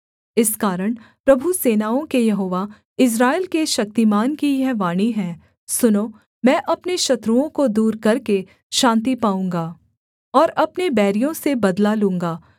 इस कारण प्रभु सेनाओं के यहोवा इस्राएल के शक्तिमान की यह वाणी है सुनो मैं अपने शत्रुओं को दूर करके शान्ति पाऊँगा और अपने बैरियों से बदला लूँगा